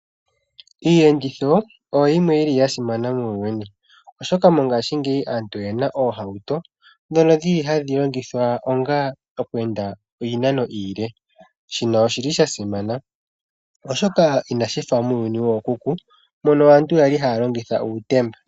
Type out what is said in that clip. Iiyenditho oyi yimwe yili ya simana muuyuni, oshoka mongashingeyi aantu oyena oohauto ndhono dhili hadhi longithwa onga okweenda iinano iile, shino oshili shasimana oshoka inashi fa muuyuni wookuku mono aantu ya li haya longitha uutemba.